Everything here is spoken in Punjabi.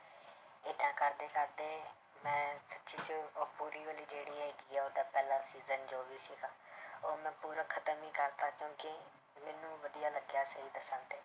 ਏਦਾਂ ਕਰਦੇ ਕਰਦੇ ਮੈਂ ਸੱਚੀ 'ਚ ਉਹ ਜਿਹੜੀ ਹੈਗੀ ਉਹਦਾ ਪਹਿਲਾ season ਜੋ ਵੀ ਸੀਗਾ ਉਹ ਮੈਂ ਪੂਰਾ ਖ਼ਤਮ ਹੀ ਕਰ ਦਿੱਤਾ ਕਿਉਂਕਿ ਮੈਨੂੰ ਵਧੀਆ ਲੱਗਿਆ ਸਹੀ ਦੱਸਾਂ ਤੇ